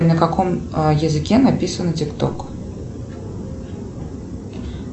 на каком языке написано тик ток